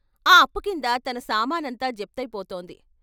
ఆ అప్పు కింద తన సామానంతా జప్తయి పోతోంది.